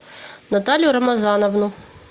наталью рамазановну